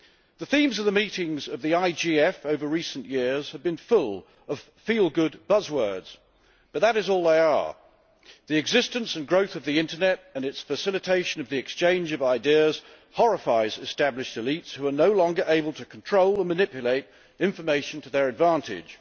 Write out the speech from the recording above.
The themes of the meetings of the IGF over recent years have been full of feel good buzz words, but that is all they are. The existence and growth of the internet and its facilitation of the exchange of ideas horrifies established elites who are no longer able to control and manipulate information to their advantage.